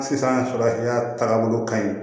Sisan taabolo ka ɲi